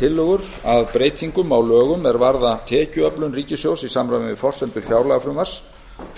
tillögur að breytingum á lögum er varða tekjuöflun ríkissjóðs í samræmi við forsendur fjárlagafrumvarps